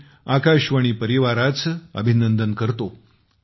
मी आकाशवाणी परिवाराचे अभिनंदन करतो